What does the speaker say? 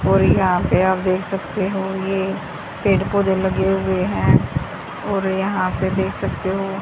ओर यहां पे आप देख सकते हो ये पेड़-पौधे लगे हुए हैं और यहां पे देख सकते हो--